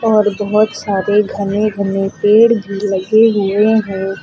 और बहुत सारे घने घने पेड़ भी लगे हुए हैं।